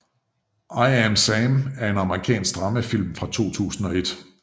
I Am Sam er en amerikansk dramafilm fra 2001